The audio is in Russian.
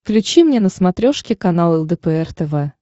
включи мне на смотрешке канал лдпр тв